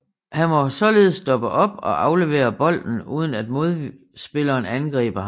Han må således stoppe op og aflevere bolden uden at modspilleren angriber ham